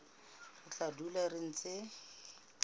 re tla dula re ntse